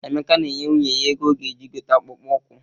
Emeka na-enye nwunye ya ego ọ ga-eji gote akpụkpọ ụkwụ.